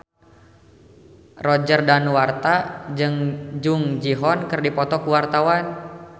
Roger Danuarta jeung Jung Ji Hoon keur dipoto ku wartawan